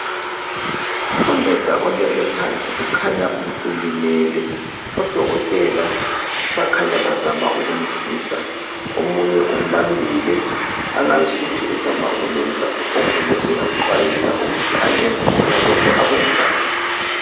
Undoda olele phansi kukhanya ulimele odokotela bakhanya bazama ukumsiza omunye umbambile angazi ukuthi uzama ukumyenzani omunye uyamqwayisa ukuthi ungenzi khonokho akuyenzayo